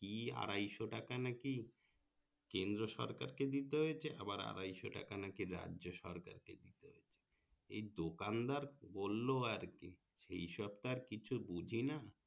কি আড়াইশো টাকা নাকি কেন্দ্র সরকারকে দিতে হয়েছে আবার আড়াইশো টাকা নাকি রাজ্য সরকার কে দিতে হচ্ছে এই দোকান দাঁড় বললো আর কি সেই সো তো আর কিছু বুঝি না